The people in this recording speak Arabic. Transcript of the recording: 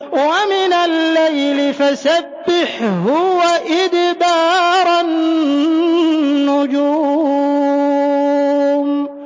وَمِنَ اللَّيْلِ فَسَبِّحْهُ وَإِدْبَارَ النُّجُومِ